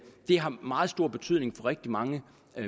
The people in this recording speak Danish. har meget stor betydning for rigtig mange